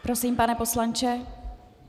Prosím, pane poslanče.